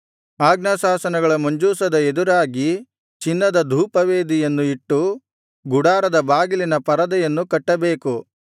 ಆಜ್ಞಾಶಾಸನಗಳ ಮಂಜೂಷದ ಎದುರಾಗಿ ಚಿನ್ನದ ಧೂಪವೇದಿಯನ್ನು ಇಟ್ಟು ಗುಡಾರದ ಬಾಗಿಲಿನ ಪರದೆಯನ್ನು ಕಟ್ಟಬೇಕು